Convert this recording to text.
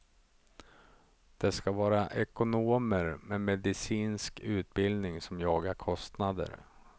Det ska vara ekonomer med medicinsk utbildning som jagar kostnader.